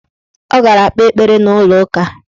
Ọ gara kpee ekpere n' ụlọụka.